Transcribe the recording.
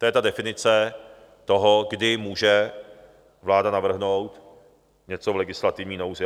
To je ta definice toho, kdy může vláda navrhnout něco v legislativní nouzi.